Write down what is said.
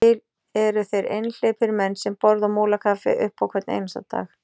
Til eru þeir einhleypir menn sem borða á Múlakaffi upp á hvern einasta dag.